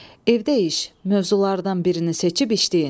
Evdə iş: mövzulardan birini seçib işləyin.